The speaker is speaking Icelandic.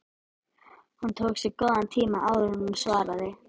Hún tók sér góðan tíma áður en hún svaraði.